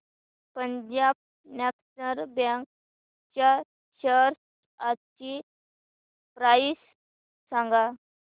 Punjab national bank च्या shares आजची price सांगा